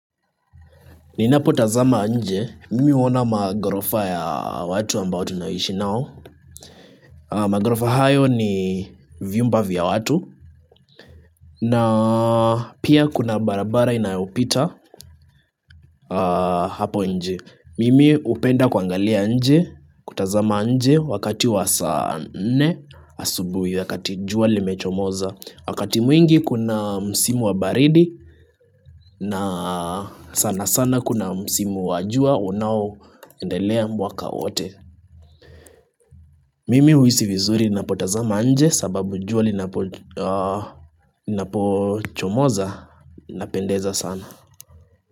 Ninapotazama nje, mimi huona maghorofa ya watu ambao tunaishi nao. Maghorofa hayo ni vyumba vya watu. Na pia kuna barabara inayopita hapo nje. Mimi hupenda kuangalia nje, kutazama nje wakati wa saa nne asubuhi wakati jua limechomoza. Wakati mwingi kuna msimu wa baridi na sana sana kuna msimu wa jua unaoendelea mwaka wote. Mimi huhisi vizuri ninapotazama nje sababu jua linapochomoza linapendeza sana.